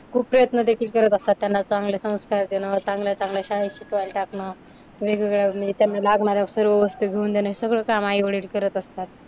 खूप प्रयत्न देखील करत असतात. त्यांना चांगले संस्कार देणं, चांगल्या चांगल्या शाळेत शिकवायला टाकणं, वेगवेगळ्या म्हणजे त्यांना लागणाऱ्या सर्व वस्तु घेऊन देणं हे सगळं काम आई-वडील करत असतात.